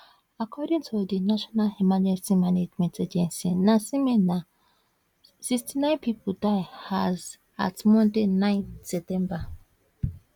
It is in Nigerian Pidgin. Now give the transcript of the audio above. according to di national emergency management agency nasema na 61 pipo die as at monday 9 september